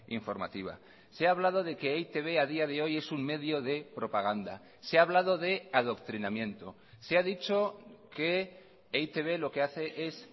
informativa se ha hablado de que e i te be a día de hoy es un medio de propaganda se ha hablado de adoctrinamiento se ha dicho que e i te be lo que hace es